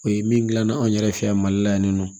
O ye min gilanna anw yɛrɛ fɛ yan mali la yan ni nɔ